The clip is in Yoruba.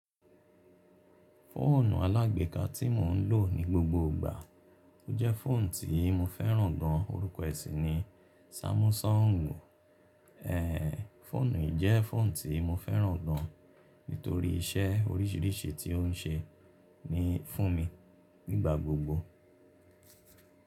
Fóònù alágbèéká tí mò ń lò ní gbogbo ìgbà, ó jẹ́ fóònù tí mo fẹ́ràn gan. Orúkọ è sì ni Sámúsọ́ǹgù. Ehn, fóònù yìí jẹ́ fóònù tí mo fẹ́ràn gan, nítorí iṣẹ́ oríṣìíríṣìí tí ó ń ṣe ní fún mi nígbà gbogbo.